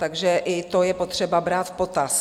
Takže i to je potřeba brát v potaz.